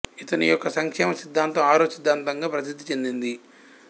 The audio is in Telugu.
ఇతని యొక్క సంక్షేమ సిద్ధాంతం ఆరో సిద్ధాంతం గా ప్రసిద్ధి చెందింది